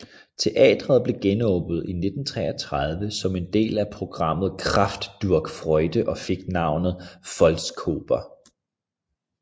Teatret blev genåbnet i 1933 som del af programmet Kraft durch Freude og fik navnet Volksoper